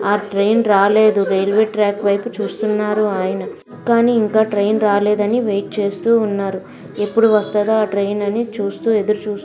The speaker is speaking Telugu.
ఆ ట్రైన్ రాలేదు. రైల్వే ట్రాక్ వైపు చూస్తున్నారు. ఆయన కానీ ఇంకా ట్రైన్ రాలేదు అని వెయిట్ చేస్తూ ఉన్నారు. ఎప్పుడు వస్తదా ఆ ట్రైన్ అని చూస్తూ ఎదురు చూస్తూ --